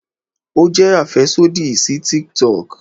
o jẹ afẹsodi si TikTok